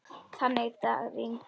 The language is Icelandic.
Þann dag rigndi.